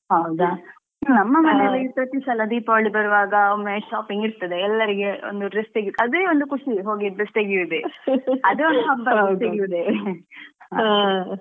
ಹೌದಾ. ನಮ್ಮನೆಯಲ್ಲಿ ಪ್ರತಿ ಸಲ ದೀಪಾವಳಿ ಬರುವಾಗ ಒಮ್ಮೆ shopping ಇರ್ತದೆ ಎಲ್ಲರಿಗೆ ಒಂದು dress , ತೆಗಿಯುದೇ ಒಂದ್ ಖುಷಿ ಹೋಗಿ dress ತೆಗಿಯುದೇ ಅದೊಂದು ಹಬ್ಬ ತೆಗಿಯುದೇ .